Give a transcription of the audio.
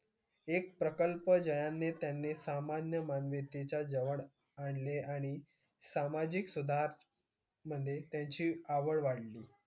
एक प्रकल्प ज्याने त्यांनी सामान्य मान्यतेच्या जवळ आणले आणि सामाजिक सुधारमध्ये त्यांची आवड वाढली.